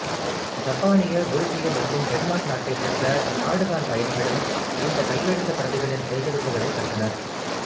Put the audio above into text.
ஜப்பானிய உருசிய மற்றும் டென்மார்க் நாட்டைச் சேர்ந்த நாடு காண் பயணிகளும் இந்தக் கையெழுத்துப் பிரதிகளின் சேகரிப்புகளைப் பெற்றனர்